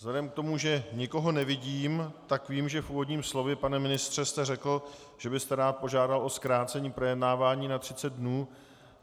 Vzhledem k tomu, že nikoho nevidím - tak vím, že v úvodním slově, pane ministře, jste řekl, že byste rád požádal o zkrácení projednávání na 30 dnů.